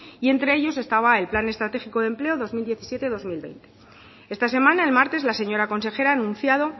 y entre ellos estaba el plan estratégico de empleo dos mil diecisiete dos mil veinte esta semana el martes la señora consejera ha anunciado